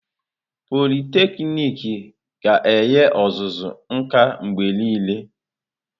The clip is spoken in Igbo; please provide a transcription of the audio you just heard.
Pọliteknịk ga-enye ọzụzụ nka mgbe niile.